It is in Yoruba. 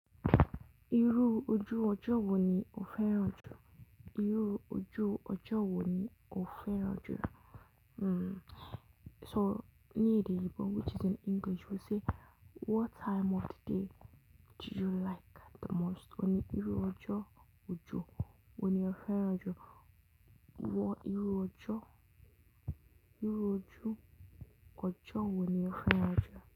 Irú ojú ọjọ́ wo ni o fẹ́ràn jù? Irú ojú ọjọ́ wo ni o fẹ́ràn jù? Hmm. So ní èdè Igbo which is in English we say what time of the day do you like the most? Òní irú ojo ọjọ́ wo ni o fẹ́ràn jù? Wọ́n irú ojo, irú ojo ojo wo ni o fẹ́ràn jù?